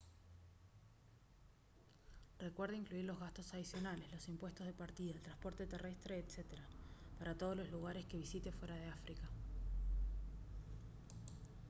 recuerde incluir los gastos adicionales los impuestos de partida el transporte terrestre etc para todos los lugares que visite fuera de áfrica